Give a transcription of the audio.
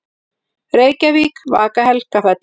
Reykjavík: Vaka-Helgafell.